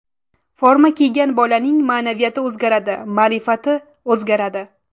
Forma kiygan bolaning ma’naviyati o‘zgaradi, ma’rifati o‘zgaradi.